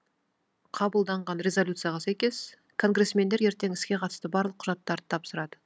қабылданған резолюцияға сәйкес конгрессмендер ертең іске қатысты барлық құжаттарды тапсырады